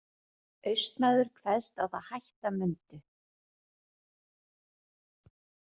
Austmaður kveðst á það hætta mundu.